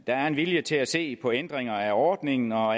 er en vilje til at se på ændringer af ordningen og